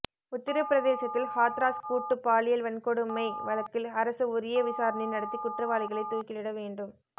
உத்தரப்பிரதேசத்தில் ஹாத்ராஸ் கூட்டு பாலியல் வன்கொடுமை வழக்கில் அரசு உரிய விசாரணை நடத்தி குற்றவாளிகளை தூக்கிலிட வேண்டும்